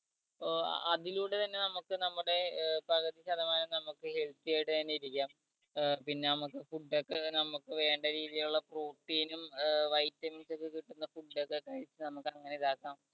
ഏർ അതിലൂടെ തന്നെ നമുക്ക് നമ്മുടെ ഏർ പകുതി ശതമാനം നമുക്ക് healthy ആയിട്ടു തന്നെ ഇരിക്കാം ഏർ പിന്നെ നമ്മക് food ഒക്കെ നമുക്ക് വേണ്ട രീതിയിലുള്ള protein ഉം ഏർ vitamins ഒക്കെ കിട്ടുന്ന food ഒക്കെ കഴിച്ച് നമ്മക്ക് അങ്ങനെ ഇതാക്കാം